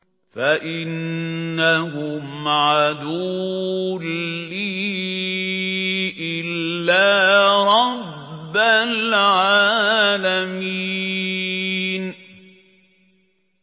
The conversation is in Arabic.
فَإِنَّهُمْ عَدُوٌّ لِّي إِلَّا رَبَّ الْعَالَمِينَ